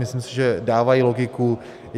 Myslím si, že dávají logiku.